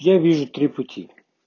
я вижу три пути